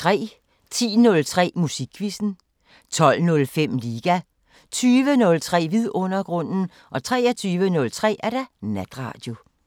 10:03: Musikquizzen 12:05: Liga 20:03: Vidundergrunden 23:03: Natradio